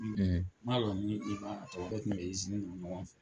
N m'a lɔn n'i b'a tɔgɔ, an tun bɛ isini na ɲɔgɔn fɛ.